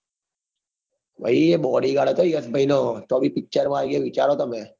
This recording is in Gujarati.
ભાઈબ એ body વાળો યશભાઈ નો તો બી એ picture માં છે વિચારો તમે.